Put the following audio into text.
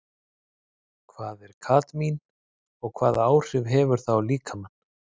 Hvað er kadmín og hvaða áhrif hefur það á líkamann?